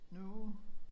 Nu